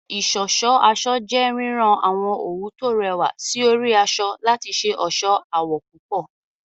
Ìṣọ̀ṣọ́ aṣọ jẹ́ rírán àwọn òwú tó rẹwà sí orí aṣọ láti ṣe ọ̀ṣọ́ àwọ̀ púpọ̀